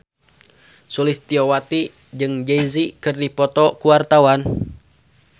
Sulistyowati jeung Jay Z keur dipoto ku wartawan